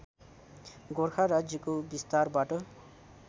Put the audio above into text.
गोरखा राज्यको विस्तारबाट